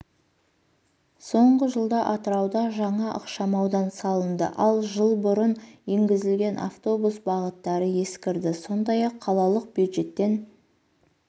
соңғы жылда атырауда жаңа ықшамаудан салынды ал жыл бұрын енгізілген автобус бағыттары ескірді сондай-ақ қалалық бюджеттен